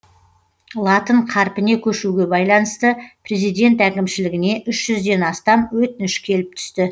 латын қарпіне көшуге байланысты президент әкімшілігіне үш жүзден астам өтініш келіп түсті